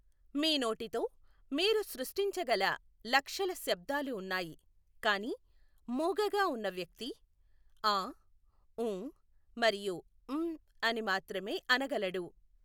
మీ నోటితో మీరు సృష్టించగల లక్షల శబ్దాలు ఉన్నాయి కానీ మూగగా ఉన్న వ్యక్తి ఆ ఊ మరియు మ్ అని మాత్రమే అనగలడు.